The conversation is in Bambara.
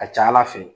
A ka ca ala fɛ